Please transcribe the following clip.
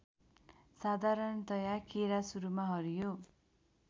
साधरणतया केरा सुरूमा हरियो